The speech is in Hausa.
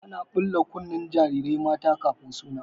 Ana ɓula kunnen jarirai mata kafin taron suna.